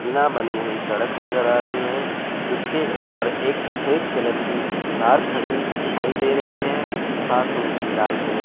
बिना बनी हुई सड़क नजर आ रही है इसके ऊपर एक सफेद कलर की कार खड़ी दिखाई दे रही है साथ में ही लाल कलर --